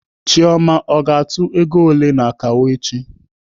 Chioma ọ ga-atụ ọnụego ole n'akawo echi?